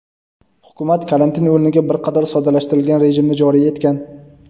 hukumat karantin o‘rniga bir qator soddalashtirilgan rejimni joriy etgan.